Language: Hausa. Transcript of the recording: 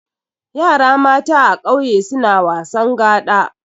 Yara mata a kauye suna wasan gaɗa.